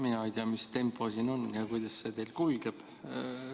Mina ei tea, mis tempo siin on ja kuidas see teil kulgeb.